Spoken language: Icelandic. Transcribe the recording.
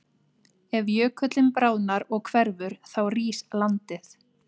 Ef jökullinn bráðnar og hverfur þá rís landið.